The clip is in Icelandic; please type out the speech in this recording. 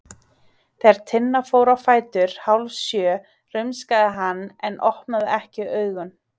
Þegar Tinna fór á fætur hálfsjö rumskaði hann en opnaði ekki augun.